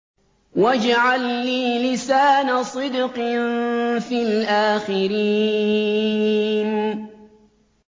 وَاجْعَل لِّي لِسَانَ صِدْقٍ فِي الْآخِرِينَ